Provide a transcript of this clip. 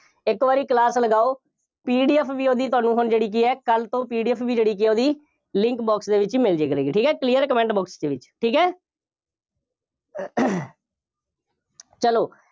ਇੱਕ ਵਾਰੀ class ਲਗਾਓ, PDF ਵੀ ਉਹਦੀ ਤੁਹਾਨੂੰ ਹੁਣ ਜਿਹੜੀ ਕਿ ਹੈ, ਕੱਲ੍ਹ ਤੋਂ PDF ਵੀ ਜਿਹੜੀ ਕਿ ਹੈ ਉਹਦੀ link box ਦੇ ਵਿੱਚ ਮਿਲ ਜਾਇਆ ਕਰੇਗੀ। ਠੀਕ ਹੈ, clear ਹੈ, comment box ਦੇ ਵਿੱਚ, ਠੀਕ ਹੈ ਚੱਲੋ,